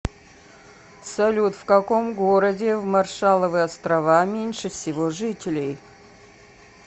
салют в каком городе в маршалловы острова меньше всего жителей